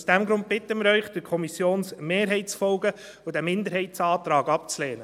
Aus diesem Grund bitten wir Sie, der Kommissionsmehrheit zu folgen und diesen Minderheitsantrag abzulehnen.